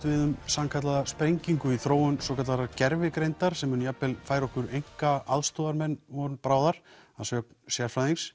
við um sannkallaða sprengingu í þróun svokallaðrar gervigreindar sem mun jafnvel færa okkur einka aðstoðarmenn von bráðar að sögn sérfræðings